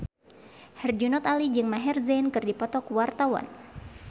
Herjunot Ali jeung Maher Zein keur dipoto ku wartawan